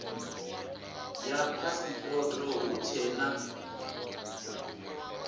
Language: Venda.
ya phasipoto hu tshee na